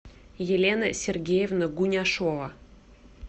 елена сергеевна гуняшова